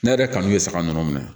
Ne yɛrɛ kanu bɛ saga ninnu minɛ